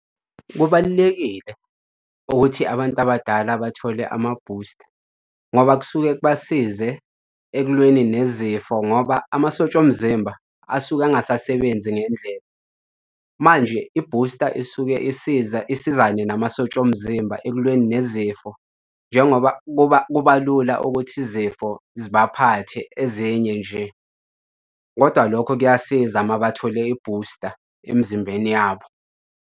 Kubalulekile ukuthi abantu abadala bathole amabhusta ngoba kusuke kubasize ekulweni nezifo ngoba amasosha omzimba asuke angasasebenzi ngendlela. Manje ibhusta isuke isiza isizane namasosha omzimba ekulweni nezifo, njengoba kuba, kuba lula ukuthi izifo zibaphathe ezinye nje, kodwa lokho kuyasiza uma bathole ibhusta emzimbeni yabo.